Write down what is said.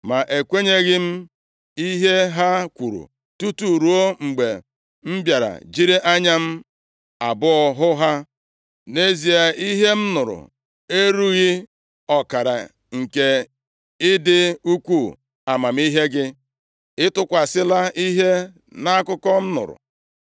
Ma ekwenyeghị m ihe ha kwuru tutu ruo mgbe m bịara jiri anya m abụọ hụ ha. Nʼezie, ihe m nụrụ erughị ọkara nke ịdị ukwuu amamihe gị. Ị tụkwasịla ihe nʼakụkọ m nụrụ.